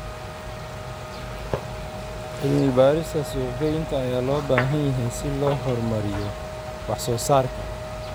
Cilmi-baarista suuq-geynta ayaa loo baahan yahay si loo horumariyo wax-soo-saarka.